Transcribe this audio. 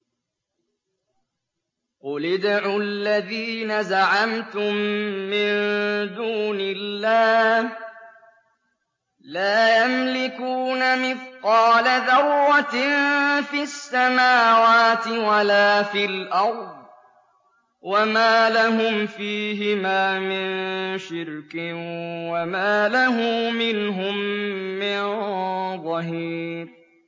قُلِ ادْعُوا الَّذِينَ زَعَمْتُم مِّن دُونِ اللَّهِ ۖ لَا يَمْلِكُونَ مِثْقَالَ ذَرَّةٍ فِي السَّمَاوَاتِ وَلَا فِي الْأَرْضِ وَمَا لَهُمْ فِيهِمَا مِن شِرْكٍ وَمَا لَهُ مِنْهُم مِّن ظَهِيرٍ